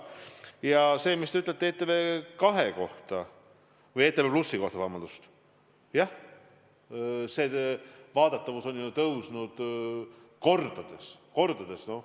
Ja see, mis te ütlesite ETV+ kohta – jah, selle vaadatavus on tõusnud kordades.